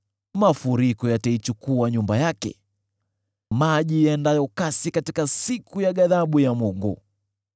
Mafuriko yataichukua nyumba yake, maji yaendayo kasi katika siku ya ghadhabu ya Mungu.